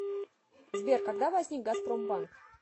сбер когда возник газпромбанк